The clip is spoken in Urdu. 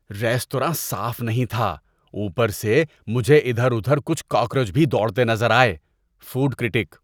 ریستوراں صاف نہیں تھا، اوپر سے مجھے ادھِر ادُھر کچھ کاکروچ بھی دوڑتے نظر آئے۔ (فوڈ کرٹیک)